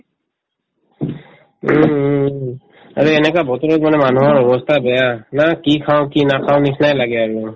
উম, উম উম আৰু এনেকুৱা বতৰত মানে মানুহৰ অৱস্থা বেয়া না কি খাওঁ কি নাখাওঁ নিচিনাই লাগে আৰু